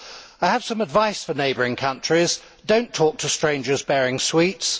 I have some advice for neighbouring countries do not talk to strangers bearing sweets.